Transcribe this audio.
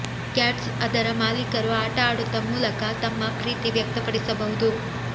cats ಅದರ ಮಾಲೀಕರು ಆಟ ಆಡುತ್ತ ಮೂಲಕ ತಮ್ಮ ಪ್ರೀತಿ ವ್ಯಕ್ತಪಡಿಸಬಹುದು